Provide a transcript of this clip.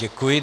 Děkuji.